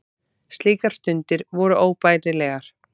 Slíkar stundir voru óbærilegar.